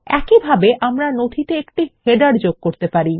একইভাবে আমরা নথিতে একটি শিরোলেখ যোগ করা উচিত